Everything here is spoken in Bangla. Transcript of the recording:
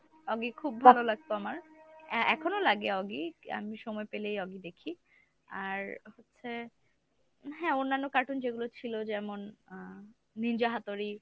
oggy খুব ভালো লাগত আমার এ~ এখনও লাগে oggy আমি সময় পেলেই oggy দেখি। আর হচ্ছে হ্যাঁ অন্যান্য cartoon যেগুলো ছিল যেমন আহ ninja hattori.